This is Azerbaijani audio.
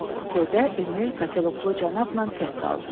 Kupedə Emil katilyoklu cənabla tək qaldı.